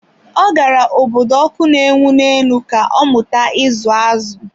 Ọ gara obodo ọkụ na-enwu ne enu ka ọmụta ịza azụ̀.